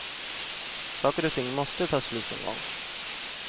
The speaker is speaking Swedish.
Saker och ting måste ta slut någon gång.